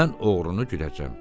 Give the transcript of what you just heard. Mən oğrunu gülləcəm.